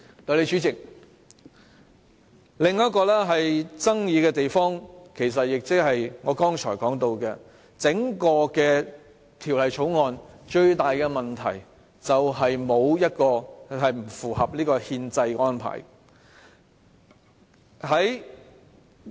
代理主席，另一個具爭議性的地方，其實也是我剛才提到，整項《條例草案》最大的問題，就是不合乎憲制安排。